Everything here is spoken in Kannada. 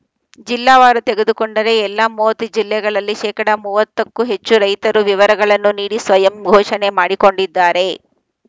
ಜಿಲ್ಲಾವಾರು ತೆಗೆದುಕೊಂಡರೆ ಎಲ್ಲಾ ಮೂವತ್ತು ಜಿಲ್ಲೆಗಳಲ್ಲಿ ಶೇಕಡಾ ಮೂವತ್ತಕ್ಕೂ ಹೆಚ್ಚು ರೈತರು ವಿವರಗಳನ್ನು ನೀಡಿ ಸ್ವಯಂ ಘೋಷಣೆ ಮಾಡಿಕೊಂಡಿದ್ದಾರೆ